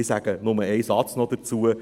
Ich sage nur einen Satz noch dazu: